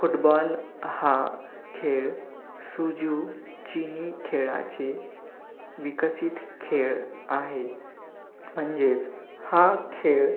football हा खेळ suju chini खेळाचे विकसित खेळ आहे, म्हणजेच हा खेळ